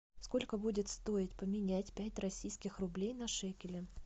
сколько будет стоить поменять пять российских рублей на шекели